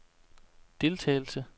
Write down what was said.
deltagelse